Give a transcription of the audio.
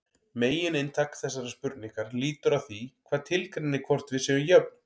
Megininntak þessarar spurningar lítur að því hvað tilgreinir hvort við séum jöfn.